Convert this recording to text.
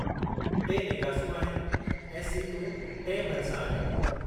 टे नेकासियूं आहिनि, ऐं सीटूं टिएं भरिसां आहिनि।